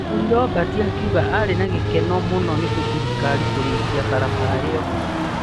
Mũthuri Robert akiuga arĩ na gĩkeno mũno nĩ thirikari kũrĩkia barabara ĩyo.